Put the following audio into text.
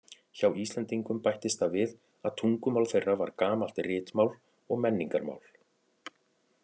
Hjá Íslendingum bættist það við að tungumál þeirra var gamalt ritmál og menningarmál.